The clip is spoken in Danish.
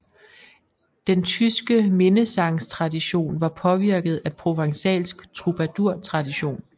Den tyske minnesangstradition var påvirket af provençalsk trubadurtradition